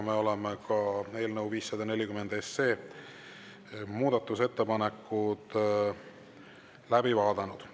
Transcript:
Me oleme eelnõu muudatusettepanekud läbi vaadanud.